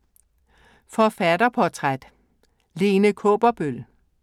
Forfatterportræt: Lene Kaaberbøl